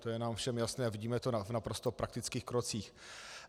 To je nám všem jasné a vidíme to v naprosto praktických krocích.